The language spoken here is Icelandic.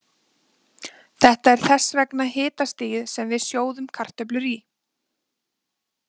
Þetta er þess vegna hitastigið sem við sjóðum kartöflur í.